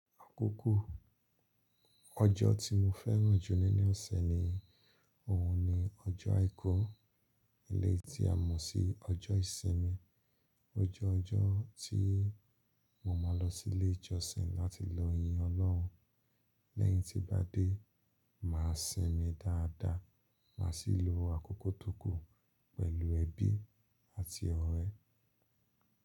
Àkókò ọjọ́ tí mo fẹ́ràn jù nínú ọ̀sẹ̀ ni òun ni ọjọ́ àìkú, eleyii tí a mọ̀ sí ọjọ́ ìsinmi. Ó jẹ́ ọjọ́ tí mo máa lọ sí ilé ìjọsìn láti lọ yin Ọlọ́run. Lẹ́yìn tí bá dé, màá sinmi dáadáa, màá sì lo àkókò tó kù pẹ̀lú ẹbí àti ọ̀rẹ́.